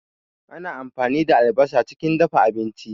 Ana ampani da albasa chikin dafa abinchi